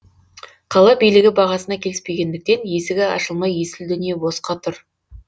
қала билігі бағасына келіспегендіктен есігі ашылмай есіл дүние босқа тұр